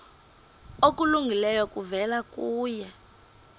okulungileyo kuvela kuye